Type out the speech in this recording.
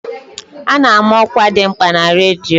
A ná-ama ọkwa dị mkpa na redio.